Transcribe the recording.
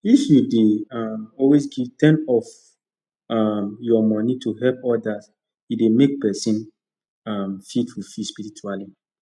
if you dey um always give ten of um your money to help others e dey make person um feel fulfilled spiritually